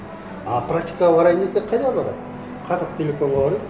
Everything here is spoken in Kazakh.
а практикаға барайын десе қайда барады қазақтелекомға барады